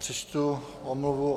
Přečtu omluvu.